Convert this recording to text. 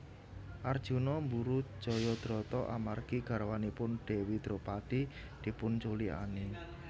Arjuna mburu Jayadrata amargi garwanipun Dewi Dropadi dipunculikani